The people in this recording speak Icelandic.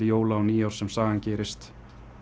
jóla og nýárs sem sagan gerist